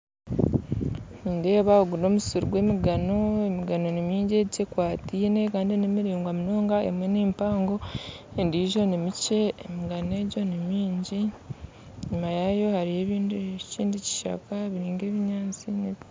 Nindeeba ogu n'omusiri gw'emigano, emigano ni mingi egyi ekwatiine, kandi nimiringwa munonga emwe nimpango endijjo nimikye, emigano egyo nimingi, enyima yaayo hariyo ebindi ekindi kishaka biri nk'ebinyaatsi